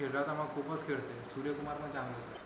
खेळला तर मग खूपच खेळतोय सूर्यकुमार पण चांगला खेळतो